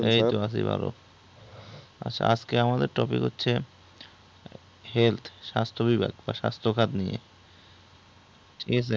এইতো আছি ভালো। আজকে আমাদের topic হচ্ছে health স্বাস্থ্য বিভাগ বা স্বাস্থ্য খাত নিয়ে। ঠিক আছে